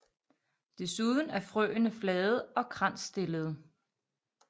Desuden er frøene flade og kransstillede